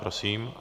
Prosím.